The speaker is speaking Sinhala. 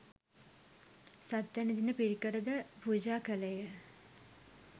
සත්වැනි දින පිරිකර ද පූජා කළේ ය.